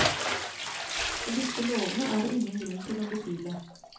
Og disse lovene er det ingen grunn til å betvile.